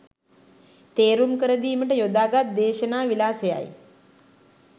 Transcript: තේරුම් කරදීමට යොදාගත් දේශනා විලාසයයි.